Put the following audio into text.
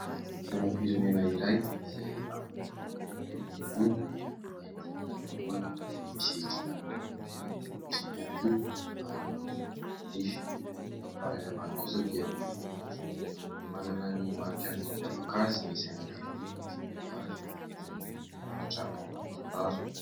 Sainam-pirenena iray, izay amin'ny lokony mena ny ambony, mainty ny afovoany, izay misy kintana miloko fotsy ihany koa ary ny volana manify, ny amin'ny farany ambany kosa dia miloko maitso ; manana ny marika ny mampiavaka azy ny sainam-pirenena tsirairay avy, izay mirakitra ao anaty tantara.